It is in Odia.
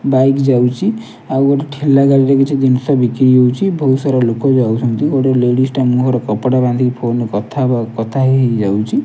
ବାଇକ୍ ଯାଉଚି ଆଉ ଗୋଟେ ଠେଲା ଗାଡ଼ିରେ କିଛି ଜିନଷ ବିକିରି ହଉଛି ବହୁତ ସାରା ଲୋକ ଯାଉଛନ୍ତି ଗୋଟେ ଲେଡ଼ିଜ ଟେ ମୁଁହ ରେ କପଡା ବାନ୍ଧିକି ଫୋନ୍ କଥା ହବା କଥା ହେଇ ହେଇ ଯାଉଛି।